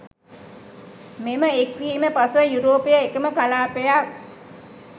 මෙම එක්වීම පසුව යුරෝපය එකම කලාපයක්